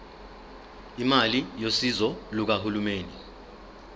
imali yosizo lukahulumeni